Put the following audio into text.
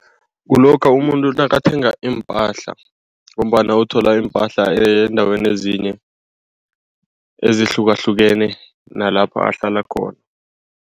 Kulokha umuntu nakathenga iimpahla ngombana uthola iimpahla eendaweni ezinye ezihlukahlukene nalapho ahlala khona.